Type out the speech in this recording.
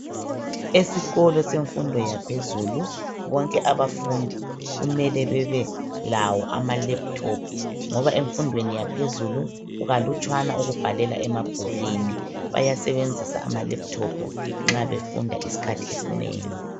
Esikolo semfundo yaphezulu bonke abafundi kumele bebe lawo amalaptop ngoba emfundweni yaphezulu kukalutshwane ukubhalela emabhukwini, bayasebenzisa amalaptop nxa befunda iskhathi esnengi.